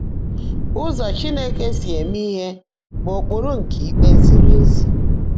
Ụ́zọ́ Chínekè sí émé íhe bụ́ ụ́kpụ́rụ́ nkè íkpé zìrì ézí.